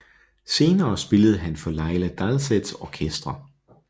Senere spillede han for Laila Dalseths orkestre